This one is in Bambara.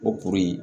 O kuru in